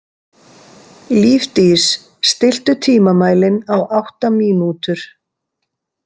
Lífdís, stilltu tímamælinn á átta mínútur.